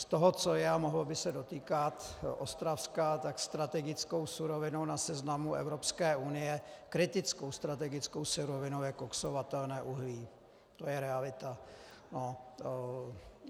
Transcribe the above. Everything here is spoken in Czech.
Z toho, co je a mohlo by se dotýkat Ostravska, tak strategickou surovinou na seznamu Evropské unie, kritickou strategickou surovinou je koksovatelné uhlí, to je realita.